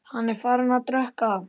Hann er farinn að drekka!